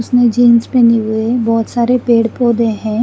इसमें जीन्स पेनी हुई है बोहोत सारे पेड़ पोधे है।